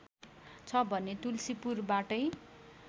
छ भने तुल्सीपुरबाटै